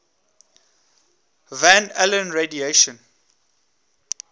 van allen radiation